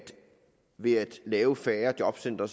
ved at lave færre jobcentre